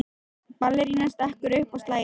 Ballerínan stekkur upp og slær í.